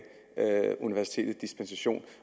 universitetet den dispensation